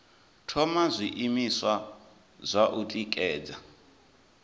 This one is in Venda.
thoma zwiimiswa zwa u tikedza